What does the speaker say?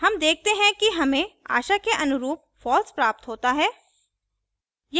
हम देखते हैं कि हमें आशा के अनुरूप false प्राप्त होता है